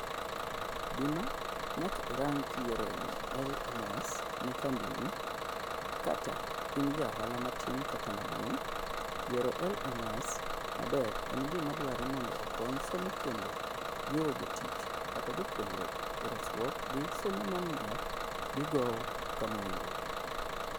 Gima nyaka irang kiyiero LMS ne kambini kata in jaohala matin kata maduon'. Yiero LMS maber en gima dwarre mondo okony somo kendo jiwo jotich kata jopuonjre eraskruok gi somo mamiyo gigowo kamowinjore.